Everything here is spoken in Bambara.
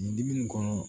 Dimi kɔnɔ